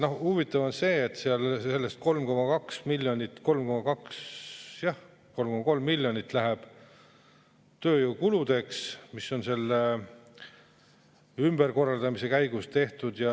Ja huvitav on see, et 3,3 miljonit läheb tööjõukuludeks, mis on selle ümberkorraldamise käigus tehtud.